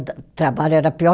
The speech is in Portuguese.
Trabalho era pior